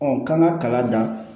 k'an ka kalan dan